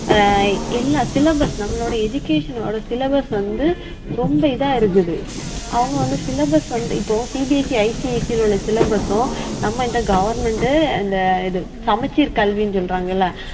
ஆஹ் எல்லா syllabus நம்ளோட education ஓட syllabus வந்து ரொம்ப இதா இருக்குது அவுங்க வந்து syllabus வந்து இப்போ CBSC, ICIC ல உள்ள syllabus சும் நம்ம இந்த government அந்த இது சமச்சீர் கல்வினு சொல்றாங்கல்ல